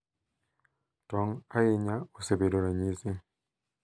Tong’, ahinya, osebedo ranyisi,